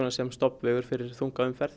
sem stofnvegur fyrir þunga umferð